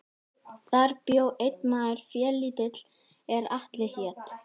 Þar bjó einn maður félítill er Atli hét.